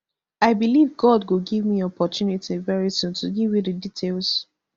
i believe god go give me opportunity very soon to give you di details